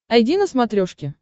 айди на смотрешке